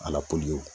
Ala ko